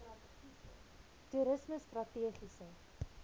toerismestrategiese